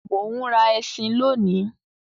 Mo ń rà ẹṣin lóni.